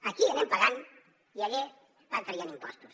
aquí anem pagant i allà van traient impostos